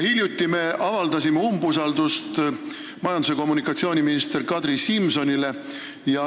Hiljuti me avaldasime umbusaldust majandus- ja kommunikatsiooniminister Kadri Simsonile.